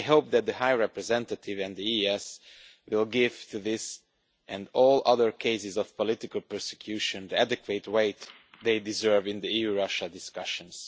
I hope that the High Representative and the EEAS will give this and all other cases of political persecution the adequate weight they deserve in EU Russia discussions.